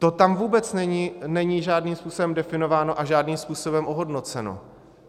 To tam vůbec není žádným způsobem definováno a žádným způsobem ohodnoceno.